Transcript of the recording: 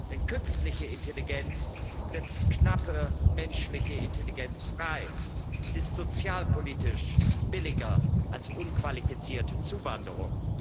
Denn künstliche Intelligenz setzt knappe menschliche Intelligenz frei und ist sozialpolitisch billiger als unqualifizierte Zuwanderung.